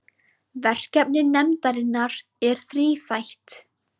Verkefni nefndarinnar er þríþætt